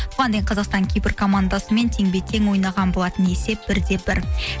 бұған дейін қазақстан кипр командасымен теңбе тең ойнаған болатын есеп бір де бір